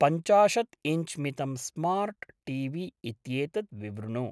पञ्चाशत्‌ इञ्च् मितं smart T V इत्येतत् विवृणु।